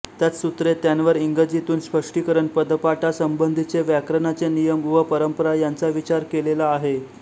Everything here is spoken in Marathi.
त्यात सूत्रे त्यांवर इंगजीतून स्पष्टीकरण पदपाठासंबंधीचे व्याकरणाचे नियम व परंपरा यांचा विचार केलेला आहे